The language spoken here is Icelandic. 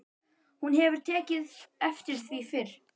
Hún hefur ekki tekið eftir því fyrr.